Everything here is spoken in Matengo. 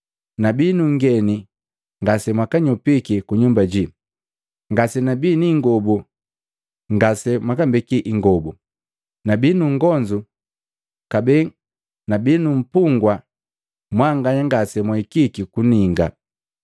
Nabii nungeni ngasemwanyopiki kunyumba jii, ngasenabii niingobu ngase mwambeki ingobu nabii nungonzu, kabee nabii numpugwa mwanganya ngase mwahikiki kuninga.’